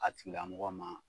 A tigilamɔgɔ ma